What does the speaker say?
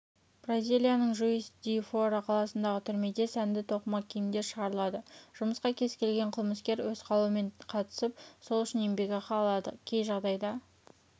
бразиялияның жуис-ди-фора қаласындағы түрмеде сәнді тоқыма киімдер шығарылады жұмысқа кез келген қылмыскер өз қалауымен қатысып сол үшін еңбекақы алады кей жағдайда